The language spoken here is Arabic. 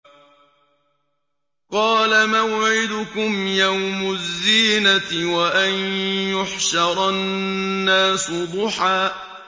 قَالَ مَوْعِدُكُمْ يَوْمُ الزِّينَةِ وَأَن يُحْشَرَ النَّاسُ ضُحًى